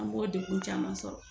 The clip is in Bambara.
An b'o degun caman sɔrɔ